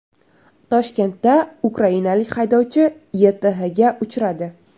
Toshkentda ukrainalik haydovchi YTHga uchradi.